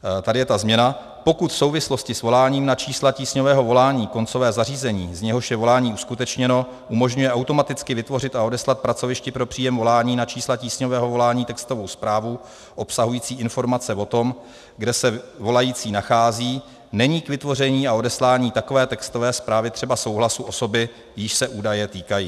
- Tady je ta změna: Pokud v souvislosti s voláním na čísla tísňového volání koncové zařízení, z něhož je volání uskutečněno, umožňuje automaticky vytvořit a odeslat pracovišti pro příjem volání na čísla tísňového volání textovou zprávu obsahující informace o tom, kde se volající nachází, není k vytvoření a odeslání takové textové zprávy třeba souhlasu osoby, jíž se údaje týkají.